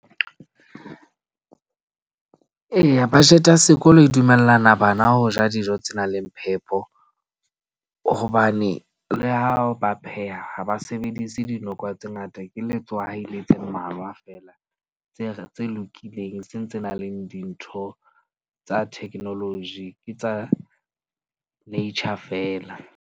Eya, budget ya sekolo e dumellana bana ho ja dijo tse nang le phepo. Hobane le ha ba pheha ha ba sebedise dinoko tse ngata, ke letswai le tse mmalwa feela. Tse lokileng seng tse nang le dintho tsa technology, ke tsa nature feela.